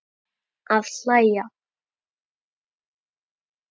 Að hlæja.